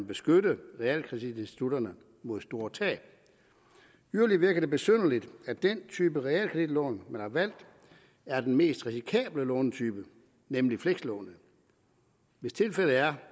beskytte realkreditinstitutterne mod store tab yderligere virker det besynderligt at den type realkreditlån man har valgt er den mest risikable lånetype nemlig flekslånet hvis tilfældet er